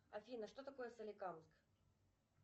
афина что такое соликамск